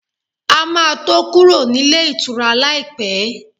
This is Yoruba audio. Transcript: A ma tó kúrò nílé ìtura láìpẹ́